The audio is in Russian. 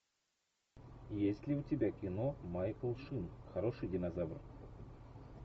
есть ли у тебя кино майкл шин хороший динозавр